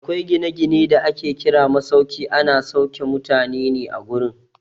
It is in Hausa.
Akwai gina-gine da ake kira masauki, ana sauke mutane ne a gurin.